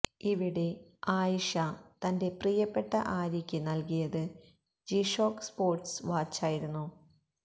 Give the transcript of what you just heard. ഇവിടെ ആയിഷ തന്റെ പ്രിയപ്പെട്ട ആര്യയ്ക്ക് നൽകിയത് ജിഷോക്ക് സ്പോർട്സ് വാച്ചായിരുന്നു